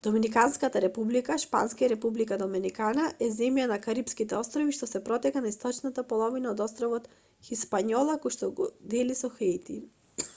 доминиканската република шпански: república dominicana е земја на карипските острови што се протега на источната половина од островот хиспањола којшто го дели со хаити